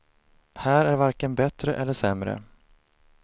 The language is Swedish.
Här är varken bättre eller sämre.